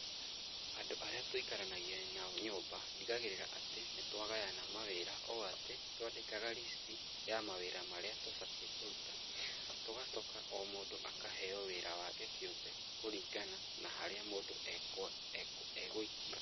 Andũ arĩa tũikaranagia nao nyũmba, ndigagĩrĩra atĩ, nĩ twa gayana mawĩra ũ atĩ, twandĩkaga list ya mawĩra marĩa tũbatiĩ kũruta, tũgacoka o mũndũ akaheo wĩra wake kĩũmbe, kũringana na harĩa mũndũ egũikio.